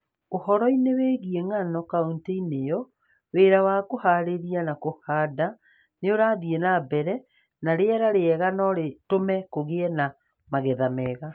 Ũhoro-inĩ wĩgiĩ ngano kauntĩ-inĩ ĩyo, wĩra wa kũhaarĩria na kũhanda nĩ ũrathiĩ na mbere, na rĩera rĩega no rĩtũme kũgĩe na magetha mega.